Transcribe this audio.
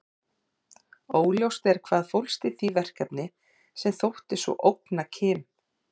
Óljóst er hvað fólst í því verkefni sem þótti svo ógna Kim.